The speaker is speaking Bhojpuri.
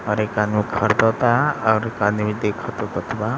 और एक आदमी खरीदाता और एक आदमी देखाता बटूवा।